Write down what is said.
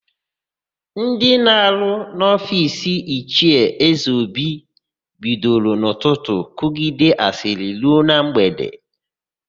Ndị na-arụ n'ofiisi Ichie Ezeobi bidoro n'ụtụtụ kụgide asịrị ruo na mgbede.